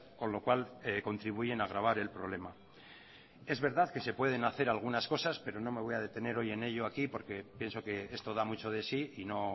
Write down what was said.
con lo cual contribuyen a agravar el problema es verdad que se pueden hacer algunas cosas pero no me voy a detener hoy en ello aquí porque pienso que esto da mucho de sí y no